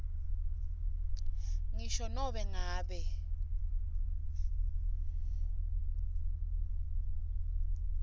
ngisho nobe ngabe